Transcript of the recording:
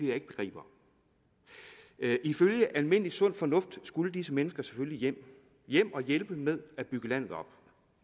jeg ikke begriber ifølge almindelig sund fornuft skulle disse mennesker selvfølgelig hjem hjem og hjælpe med at bygge landet op